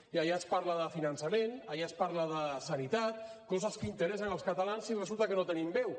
i allà es parla de finançament allà es parla de sanitat coses que interessen els catalans i resulta que no hi tenim veu